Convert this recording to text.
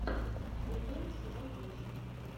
вулкан сезон восемь